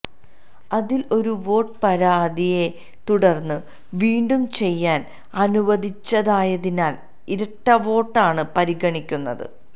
അതിൽ ഒരു വോട്ട് പരാതിയെ തുടർന്നു വീണ്ടും ചെയ്യാൻ അനുവദിച്ചതായതിനാൽ ഇരട്ടവോട്ടായാണ് പരിഗണിക്കുന്നത്